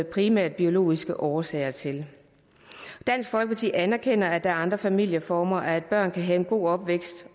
primært biologiske årsager til dansk folkeparti anerkender at der er andre familieformer og at børn også kan have en god opvækst